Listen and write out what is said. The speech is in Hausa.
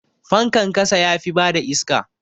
Fankan ƙasa yafi bada iska.